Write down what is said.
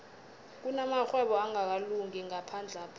kunamarhwebo angakalungi ngaphandlapha